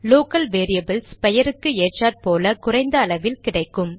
local variables பெயருக்கு ஏற்றாற்போல் குறைந்த அளவில் கிடைக்கும்